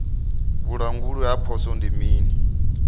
vhulanguli ha poswo ndi mini